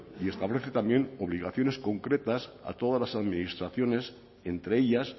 y establece también obligaciones concretas a todas las administraciones entre ellas